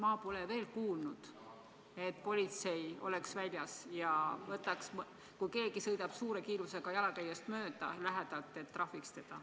Ma pole veel kuulnud, et politsei oleks väljas ja kui keegi sõidab suure kiirusega jalakäijast lähedalt mööda, siis trahvitaks teda.